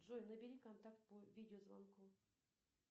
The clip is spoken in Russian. джой набери контакт по видеозвонку